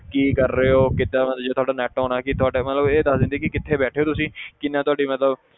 ਕੀ ਕਰ ਰਹੇ ਹੋ ਕਿੱਦਾਂ ਜੇ ਤੁਹਾਡਾ net on ਹੈ ਕਿ ਤੁਹਾਡੇ ਮਤਲਬ ਇਹ ਦੱਸ ਦਿੰਦੀ ਹੈ ਕਿ ਕਿੱਥੇ ਬੈਠੇ ਹੋ ਤੁਸੀਂ ਕਿੰਨੀ ਤੁਹਾਡੀ ਮਤਲਬ